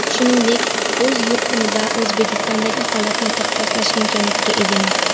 Shuningdek, o‘z yurtim va O‘zbekistondagi holatni taqqoslash imkoniyatiga egaman.